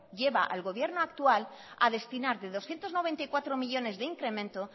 lleva al gobierno actual a destinar de doscientos noventa y cuatro millónes de incremento